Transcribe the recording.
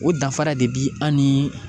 O danfara de bi an ni